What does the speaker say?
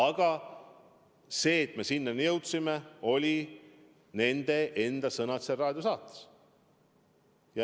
Ja põhjus, et me sinnani jõudsime, olid nende enda sõnad seal raadiosaates.